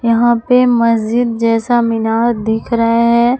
यहां पर मस्जिद जैसा मीनार दिख रहे हैं।